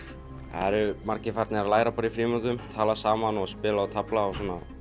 eru margir farnir að læra í frímínútum tala saman og spila og tefla